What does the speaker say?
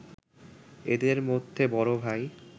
এদের মধ্যে বড় ভাই